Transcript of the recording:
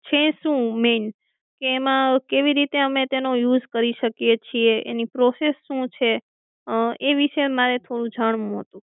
છે સુ main કે એમાં કેવી રીતે અમે એનો use કરી શકીયે છીએ એની process સુ છે એ વિષે મારે થોડું જાણવું હતું